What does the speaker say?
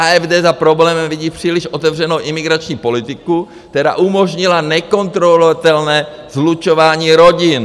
AfD za problémem vidí příliš otevřenou imigrační politiku, která umožnila nekontrolovatelné slučování rodin.